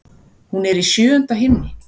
Hún er í sjöunda himni.